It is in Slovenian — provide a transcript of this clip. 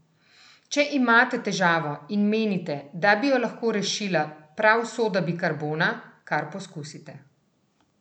Če imate težavo in menite, da bi jo lahko rešila prav soda bikarbona, kar poskusite!